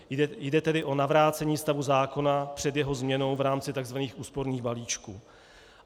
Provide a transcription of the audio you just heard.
Jde tedy o navrácení stavu zákona před jeho změnou v rámci tzv. úsporných balíčků.